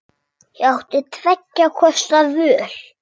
Ég átti tveggja kosta völ.